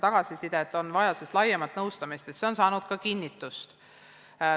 Ja kinnitust on saanud ka soov, et vaja on laiemat keelealast nõustamist.